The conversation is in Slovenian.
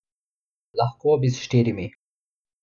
Lahko bi s štirimi.